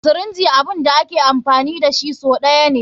Sirinji abun da ake amfani dashi sau ɗaya ne.